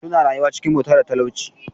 Suna rayuwa cikin bauta da talauci.